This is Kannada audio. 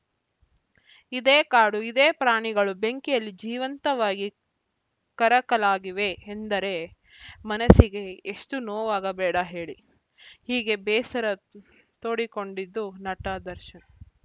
ಇದೇ ಕಾಡು ಇದೇ ಪ್ರಾಣಿಗಳು ಬೆಂಕಿಯಲ್ಲಿ ಜೀವಂತವಾಗಿ ಕರಕಲಾಗಿವೆ ಎಂದರೆ ಮನಸ್ಸಿಗೆ ಎಷ್ಟು ನೋವಾಗಬೇಡ ಹೇಳಿ ಹೀಗೆ ಬೇಸರ ತೋಡಿಕೊಂಡಿದ್ದು ನಟ ದರ್ಶನ್‌